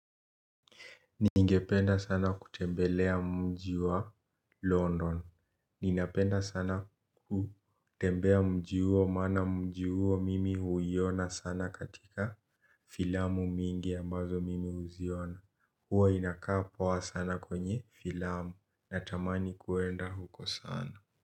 Ningependa sana kutembelea mji wa London. Ninapenda sana kutembea mji uo maana mji uo mimi huiona sana katika filamu mingi ambazo mimi huziona. Huwa inakaa poa sana kwenye filamu. Natamani kuenda huko sana.